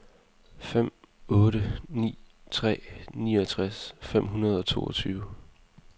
fem otte ni tre niogtres fem hundrede og toogtyve